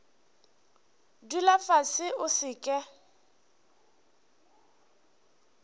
dula fase o se ke